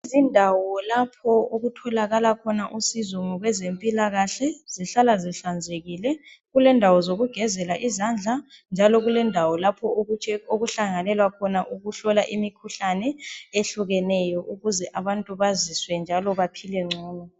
zindawo lapho okutholakala khona usizo ngokwezempikahle zihla zihlanzekile kulendawo zokugezela izandla njalo kulendawo lapho okuhlanganelwa ukuhlola imikhuhlane ehlukeneyo ukuze abantu baziswe njalo baphile ngcono